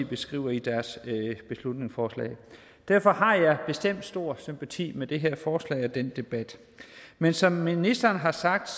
beskriver i deres beslutningsforslag derfor har jeg bestemt stor sympati for det her forslag og den her debat men som ministeren har sagt